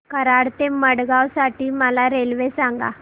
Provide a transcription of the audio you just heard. कराड ते मडगाव साठी मला रेल्वे सांगा